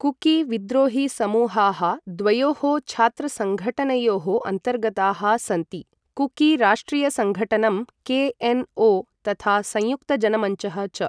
Cookie विद्रोहीसमूहाः द्वयोः छत्रसङ्घठनयोः अन्तर्गताः सन्ति कुकी राष्ट्रियसङ्गठनम् के एन् ओ, तथा संयुक्तजनमञ्चः च।